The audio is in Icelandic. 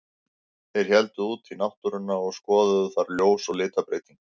Þeir héldu út í náttúruna og skoðuðu þar ljós og litabreytingar.